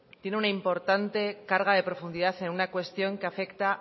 tiene una importante carga de profundidad en una cuestión que afecta